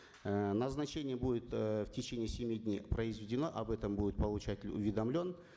эээ назначение будет э в течение семи дней произведено об этом будут получать уведомлен